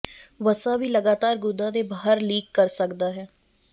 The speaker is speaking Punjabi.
ਵਸਾ ਵੀ ਲਗਾਤਾਰ ਗੁਦਾ ਦੇ ਬਾਹਰ ਲੀਕ ਕਰ ਸਕਦਾ ਹੈ